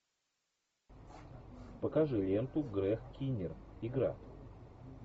покажи ленту грег киннир игра